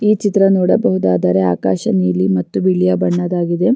ಈ ಚಿತ್ರ ನೋಡಬಹುದಾದರೆ ಆಕಾಶ ನೀಲಿ ಮತ್ತು ಬಿಳಿಯ ಬಣ್ಣದ್ದಾಗಿದೆ .